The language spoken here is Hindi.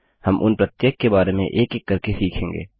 हम उन प्रत्येक के बारे में एक एक करके सीखेंगे